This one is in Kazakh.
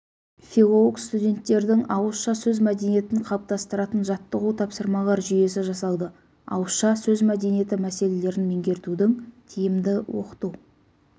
филолог-студенттердің ауызша сөз мәдениетін қалыптастыратын жаттығу-тапсырмалар жүйесі жасалды ауызша сөз мәдениеті мәселелерін меңгертудің тиімді оқыту